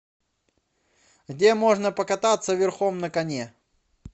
где можно покататься верхом на коне